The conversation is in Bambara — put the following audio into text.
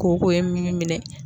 Koko ye minnu minɛn.